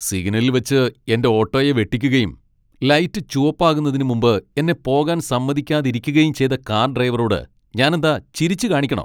സിഗ്നലിൽ വച്ച് എന്റെ ഓട്ടോയെ വെട്ടിക്കുകയും, ലൈറ്റ് ചുവപ്പാകുന്നതിന് മുമ്പ് എന്നെ പോകാൻ സമ്മതിക്കാതിരിക്കുകയും ചെയ്ത കാർ ഡ്രൈവറോട് ഞാനെന്താ ചിരിച്ചുകാണിക്കണോ?